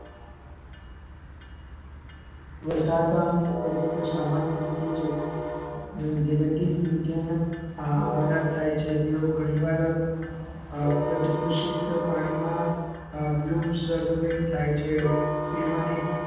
એ સાત ની સામાન્ય રીતે જગતિન આવનાર થાય છે જેઓ ઘણી વાર અમ પ્રદુષિત પાણી માં આ વ્યુમ સ્વરૂપે થાય છે તેમાંથી